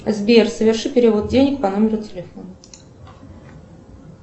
сбер соверши перевод денег по номеру телефона